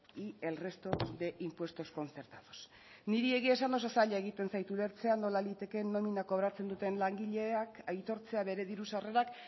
y el resto de impuestos concertados niri egian esan oso zaila egiten zait ulertzea nola litekeen nomina kobratzen duten langileak aitortzea bere diru sarrerak